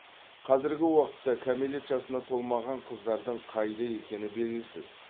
қазіргі уақытта кәмелет жасына толмаған қыздардың қайда екені белгісіз